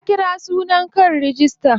Ya kira sunayen kan rigista.